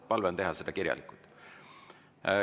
Palve on teha seda kirjalikult.